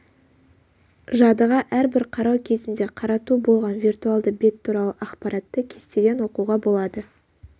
жадыға әрбір қарау кезінде қарату болған виртуалды бет туралы ақпаратты кестеден оқуға болады